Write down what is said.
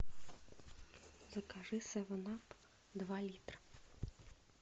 закажи севен ап два литра